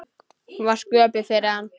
Hún var sköpuð fyrir hann.